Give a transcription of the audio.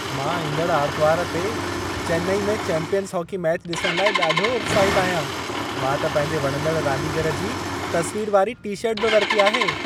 मां ईंदड़ आरितवारु ते चेन्नई में चैंपियंस हॉकी मैच ॾिसण लाइ ॾाढो उत्साहितु आहियां। मां त पंहिंजे वणंदड़ु रांदीगरु जी तस्वीर वारी टी-शर्ट बि वरिती आहे।